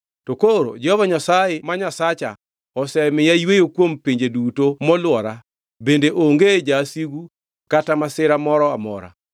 To koro Jehova Nyasaye Nyasacha osemiya yweyo kuom pinje duto molwora bende onge Jawasigu kata masira moro amora.